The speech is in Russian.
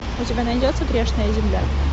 у тебя найдется грешная земля